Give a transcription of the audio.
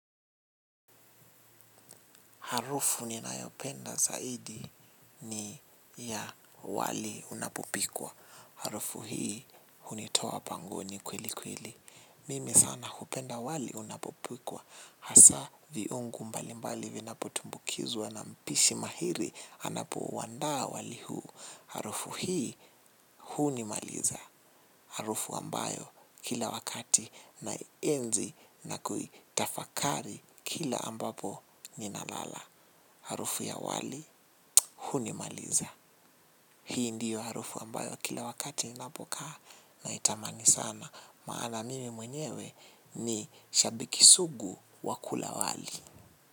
Harufu ninayopenda zaidi ni ya wali unapopikwa. Harufu hii hunitoa bangoni kweli kweli. Mimi sana hupenda wali unapopikwa. Hasaa viungu mbali mbali vinapotumbukizwa na mpishi mahiri anapouandaa wali huu. Harufu hii hunimaliza. Harufu ambayo kila wakati naienzi na kuitafakari kila ambapo ninalala. Harufu ya wali, hunimaliza. Hii ndio harufu ambayo kila wakati ninapokaa naitamani sana maana mimi mwenyewe ni shabiki sugu wa kula wali.